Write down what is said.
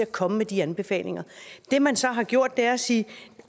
komme med de anbefalinger det man så har gjort er at sige